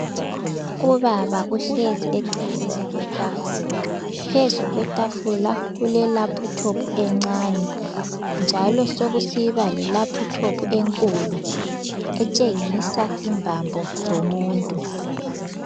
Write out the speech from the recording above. Ubaba uhlezi eceleni kwetafula. Phezu kwetafula kulelaphuthophu encane njalo sekusiba lelaphuthophu enkulu etshengisa imbambo zomuntu.